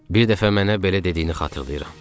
Bir dəfə mənə belə dediyini xatırlayıram.